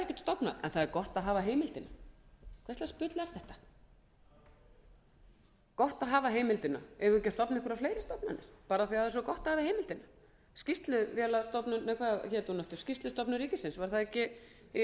stofnað en það er gott að hafa heimildina hvers lags bull er þetta gott að hafa heimildina eigum við ekki að stofna einhverjar fleiri stofnanir bara af því að það er svo gott að hafa heimildina skýrsluvélastofnun nei hvað hét